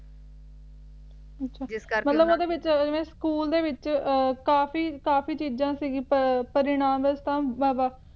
ਮਤਲਬ ਓਹਦੇ ਵਿਚ ਜਿਵੇਂ ਸਕੂਲ ਦੇ ਵਿਚ ਕਾਫੀ-ਕਾਫੀ ਚੀਜਾਂ ਸਿਗੀਆਂ ਪਰਿਣਾਮ ਦੇ ਹਿਸਾਬ ਨਾਲ